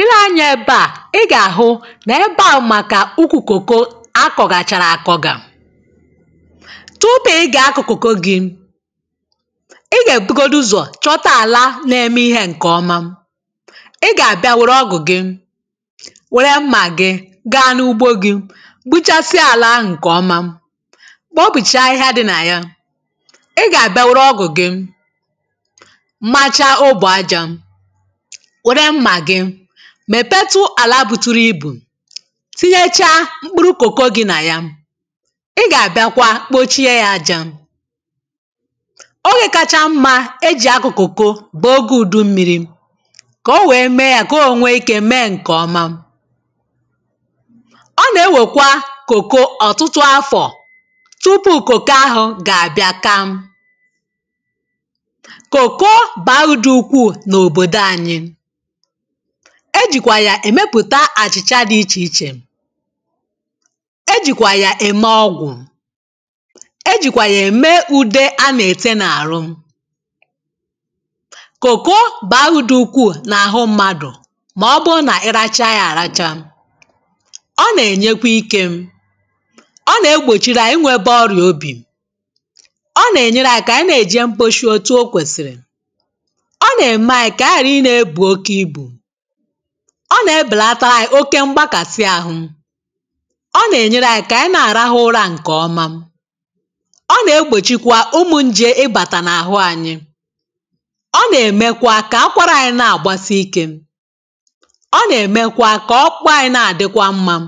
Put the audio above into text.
Ị̀le anyȧ ebe à ị gà-àhụ nà ebe à màkà ukwù kòko akọ̀gàchàrà akọ gà, tupu ị gà-akọ̀ kòko gị ị gà-èbugodu ụzọ̀ chọta àla na-eme ihė ǹkè ọma, ị gà-àbịa wèrè ọgụ̀ gị, wère mmà gị, gaa n’ugbo gị, gbuchasịa àlà ahụ̀ ǹkè ọma, kpọbùchaa ahịhịa dị nà ya, ị gà-àbịa wèrè ọgụ̀ gị, macha obụ̀ ajȧ, wèrè mmà gị mèpetụ àlà buturu ibù, tinyechaa mkpụrụ kòko gị nà ya, ị gà-àbịakwa kpòchie ya ajȧ, oge kacha mmȧ e jì akụ̀ kòko bụ̀ oge ùdụ mmịrị, kà o wèe mee ya kà o ònwe ikė mee ǹkè ọma, ọ nà-ewèkwa kòko ọ̀tụtụ afọ̀ tupu kòko ahụ̀ gà-àbịa kaa, kòko bàa udù ukwuù na obodo anyị, e jìkwà yà èmepùta àchị̀chà dị ichè ichè, e jìkwà yà ème ọgwụ̀, e jìkwà yà ème ùde a nà-ète n’àrụ, kòko baa udù ukwuù n’àhụ mmadụ̀ màọbụụ nà ịracha ya àracha, ọ nà-ènyekwa ikė, ọ nà-egbòchiri anyị nwėtė ọrìà obì, ọ nà-ènyere anyị̇ kà ànyị nà-èje mkposhi otu̇ o kwèsìrì, ọ na-eme anyị ka anyị ghara ịna ebu okè ịbụ, ọ nà-ebèlata anyi̇ oke mgbakàsi ahụ, ọ nà-ènyere anyi kà ànyi na-àrahụ ụra ǹkè ọma, ọ nà-egbòchikwa umu̇ njè i bàtà n’àhụ anyi, ọ nà-èmekwa kà akwara anyi na-àgbasi ikė, ọ nà-èmekwa kà ọkpụkpụ anyi na-àdịkwa mmȧ,